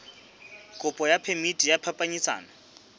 kopo ya phemiti ya phapanyetsano